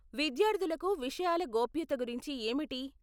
విద్యార్థులకు విషయాల గోప్యత గురించి ఏమిటి?